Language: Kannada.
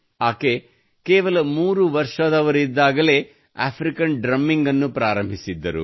ಆಕೆ ಕೇವಲ 3 ವರ್ಷದ ವಯಸ್ಸಿನಲ್ಲಿಯೇ ಆಫ್ರಿಕನ್ ಡ್ರಮ್ಮಿಂಗ್ ಅನ್ನು ಪ್ರಾರಂಭಿಸಿದ್ದರು